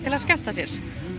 að skemmta sér